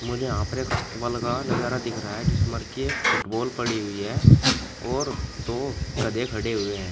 मुझे यहां पर एक अस्तबल का नजारा दिख रहा है जिसमें की एक फुटबॉल पड़ी हुई है और दो गधे खड़े हुए हैं।